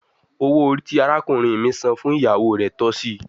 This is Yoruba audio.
Owo ori ti arakunrin mi san fun iyawo re tọsi